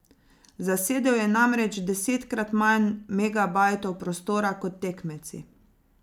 Zasedel je namreč desetkrat manj megabajtov prostora kot tekmeci.